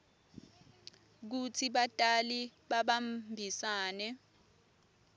kutsi batali babambisane